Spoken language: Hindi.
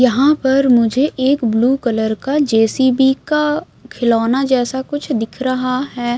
यहाँ पर मुझे एक ब्लू कलर का जेसीबी का खिलौना जैसा कुछ दिख रहा है।